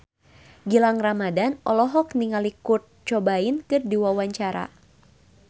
Gilang Ramadan olohok ningali Kurt Cobain keur diwawancara